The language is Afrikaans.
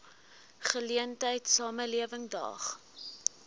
geleentheid samelewing daag